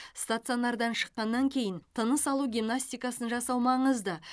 стационардан шыққаннан кейін тыныс алу гимнастикасын жасау маңызды